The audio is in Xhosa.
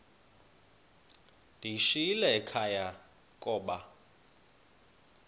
ndiyishiyile ekhaya koba